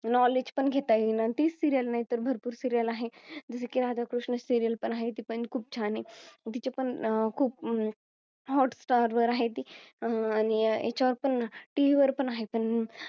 Knowledge पण घेता येईना ती Serial नाही तर भरपूर Serial आहे. जसे की राधा कृष्ण Serial पण आहे ती पण खूप छान आहे तिचे पण अं खूप Hot star आहे अह आणि याच्यावर पण TV वर पण आहे. पण